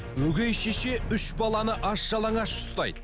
өгей шеше үш баланы аш жалаңаш ұстайды